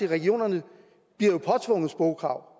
at regionerne jo bliver påtvunget sprogkrav